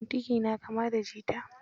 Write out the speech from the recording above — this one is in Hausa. Kuntigi na kama da jita.